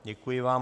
Děkuji vám.